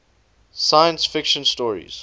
science fiction stories